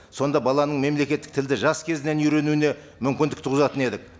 сонда баланың мемлекеттік тілді жас кезінен үйренуіне мүмкіндік туғызатын едік